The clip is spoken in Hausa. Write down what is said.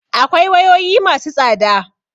Akwai wayoyi ma su tsada